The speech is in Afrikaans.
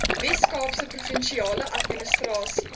weskaapse provinsiale administrasie